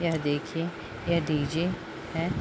यह देखिये यह डी.जे. है।